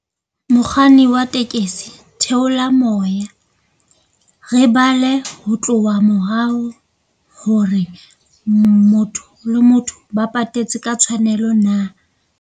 Mokganni wa tekesi theola moya, re bala ho tloha morao hore motho le motho ba patetse ka tshwanelo na.